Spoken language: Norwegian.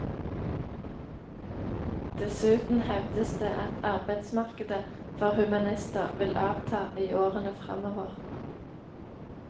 Dessuten hevdes det at arbeidsmarkedet for humanister vil avta i årene fremover.